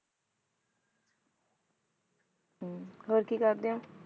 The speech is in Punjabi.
ਹਮ ਹੋਰ ਕੀ ਕਰਦੇ ਹੋ?